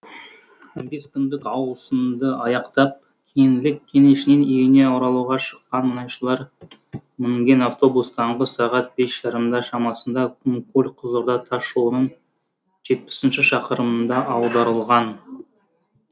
он бес күндік ауысымды аяқтап кеңлік кенішінен үйіне оралуға шыққан мұнайшылар мінген автобус таңғы сағат бес жарымда шамасында құмкөл қызылорда тасжолының жетпісінші шақырымында аударылған